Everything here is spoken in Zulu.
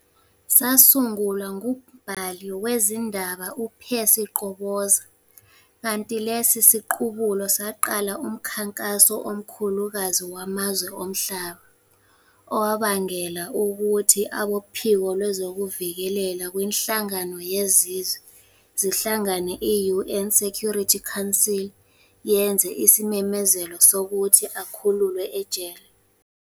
sasungulwa ngumbhali wezindaba u-Percy Qoboza, kanti lesi siqubulo saqala umkhankaso omkhulukazi wamazwe omhlaba, owabangela ukuthi abophiko lwezokuvikelela kwinhlangano yeZizwe ezihlangane, i-UN Security Council yenze isimemezelo sokuthi akhululwe ejele.